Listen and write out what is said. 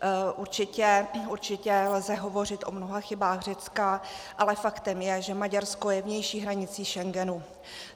Určitě lze hovořit o mnoha chybách Řecka, ale faktem je, že Maďarsko je vnější hranicí Schengenu.